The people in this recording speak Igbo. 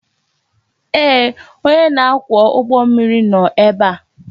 Ee, onye na-akwọ ụgbọ mmiri nọ ebe a